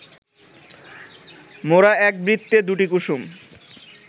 মোরা এক বৃত্তে দুটি কুসুম